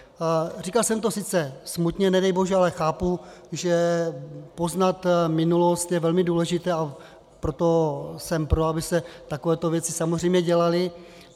Říkal jsem to sice smutně, nedej bože, ale chápu, že poznat minulost je velmi důležité, a proto jsem pro, aby se takovéto věci samozřejmě dělaly.